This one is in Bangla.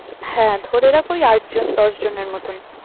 হ্যাঁ, ধরে রাখ ওই আটজন দশজনের মতন।